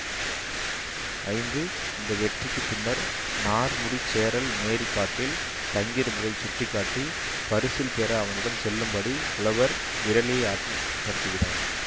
ஐந்து இந்த வெற்றிக்குப் பின்னர் நார்முடிச்சேரல் நேரிக் காட்டில் தங்கியிருந்ததைச் சுட்டி காட்டி பரிசில் பெற அவனிடம் செல்லும்படி புலவர் விறலிய ஆற்றுப்படுதுகிறார்